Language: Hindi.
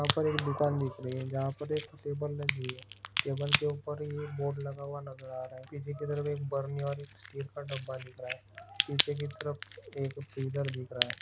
यहाँ पर एक दुकान दिख रही है जहा पर एक टेबल लगी है टेबल के ऊपर ये बोर्ड लगा हुआ नजर आ रहा है पीछे की तरफ़ बरनि और एक स्टील का डिब्बा दिख रहा है पीछे की तरफ एक फ्रीजर दिख रहा है।